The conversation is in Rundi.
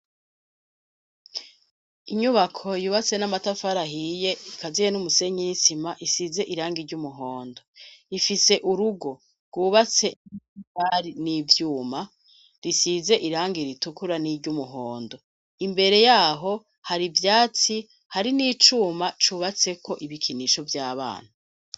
Inyubako yubatse n'amatafara ahiye ikaziye n'umusenyi n' isima isize iranga iry'umuhondo ifise urugo rwubatse n' amatafari n'ivyuma risize irangi ritukura n'iryumuhondo imbere yaho hari ivyatsi hari n'icuma cubatseko ibikinisho vy'abana.